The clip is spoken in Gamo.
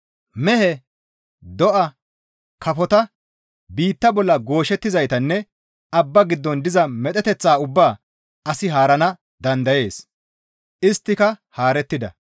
Mehe, do7a, kafota, biitta bolla gooshettizaytanne abba giddon diza medheteththata ubbaa asi haarana dandayees; isttika haarettida.